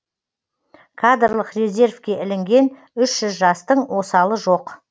кадрлық резервке ілінген үш жүз жастың осалы жоқ